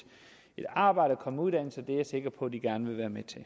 arbejde og komme i uddannelse det er jeg sikker på at de gerne vil være med til